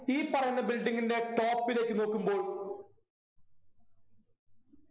ഈ പറയുന്ന building ൻ്റെ top ലേക്ക് നോക്കുമ്പോൾ